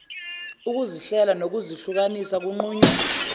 ukuzihlela ngokuzihlukanisa kunqunywa